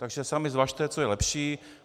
Takže sami zvažte, co je lepší.